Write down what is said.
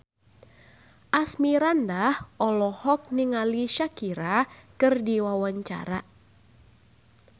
Asmirandah olohok ningali Shakira keur diwawancara